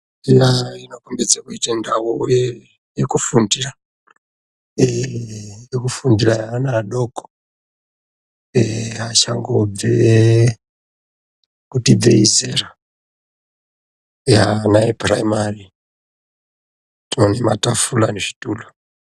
Mishina inokombidze kuita ndau iyi yekufundira. Ii yekufundira yeana adoko ee achangobve kuti ibvei zera. Eya ana epuraimari tinoti matafura nezvituru.